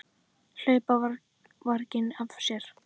Hlaupa varginn af sér.